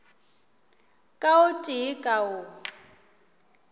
ka o tee ka o